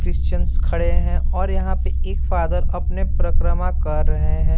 Christians खड़े हैं और यहाँ पे एक फादर अपने परक्रमा कर रहे है।